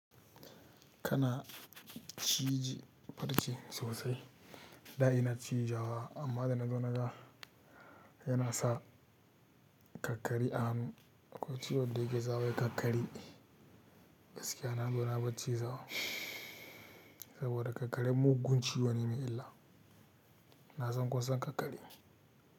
Kana ciji farce sosai. Da ina cijawa, amma da na zo na ga yana sa kakkare a hannu. Akwai ciwon da yake sawa wai kakkare. Gaskiya na zo na bar cizawa saboda kakkare mugun ciwo ne mai illa. Na san kusan kakkare.